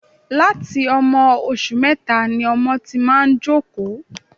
Láti ọmọ oṣù mẹta ni ọmọ ti máa ń jókòó